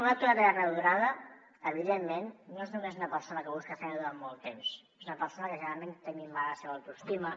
un aturat de llarga durada evidentment no és només una persona que busca feina durant molt temps és una persona que desgraciadament té minvada la seva autoestima